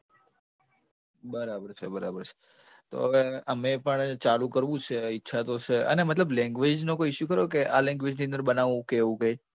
બરાબર છે બરાબર છે તો હવે મેં પણ ચાલુ કરવું છે, ઈચ્છા તો છે. અને મતલબ language નો કોઈ issue ખરો કે આ language ની અંદર બનાવવું કે એવું કંઈ?